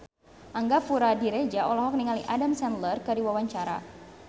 Angga Puradiredja olohok ningali Adam Sandler keur diwawancara